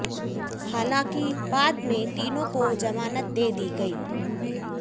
हालांकि बाद मे तीनों को जमानत दे दी गई